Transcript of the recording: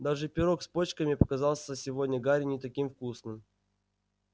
даже пирог с почками показался сегодня гарри не таким вкусным